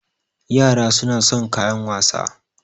Yara suna son kayan wasa